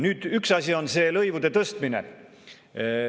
Nüüd, üks asi on lõivude tõstmine.